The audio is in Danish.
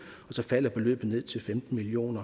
så falder beløbet til femten million